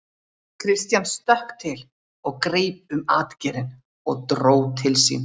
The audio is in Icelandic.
Christian stökk til og greip um atgeirinn og dró til sín.